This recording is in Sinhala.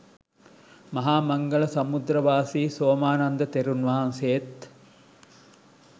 මහා මංගල සමුද්‍රාරාමවාසි සෝමානන්ද තෙරුන්වහන්සේත්